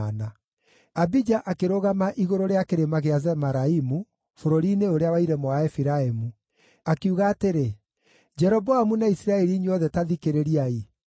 Abija akĩrũgama igũrũ rĩa Kĩrĩma kĩa Zemaraimu, bũrũri-inĩ ũrĩa wa irĩma wa Efiraimu, akiuga atĩrĩ, “Jeroboamu na Isiraeli inyuothe, ta thikĩrĩriai!